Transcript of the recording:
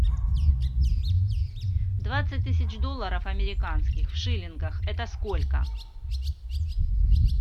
двадцать тысяч долларов американских в шиллингах это сколько